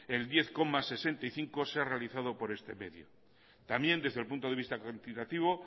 el diez coma sesenta y cinco por ciento se ha realizado por este medio también desde el punto de vista cuantitativo